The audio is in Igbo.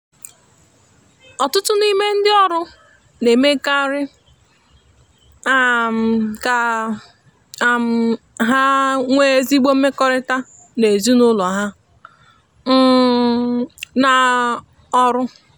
ọtụtụ n’ime ndị ọrụ na-emekarị um ka um ha nwee ezigbo mmekọrịta na ezinụlọ ha um na-arụ ọrụ.